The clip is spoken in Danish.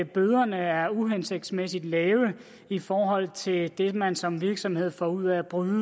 bøderne er uhensigtsmæssigt lave i forhold til det man som virksomhed får ud af at bryde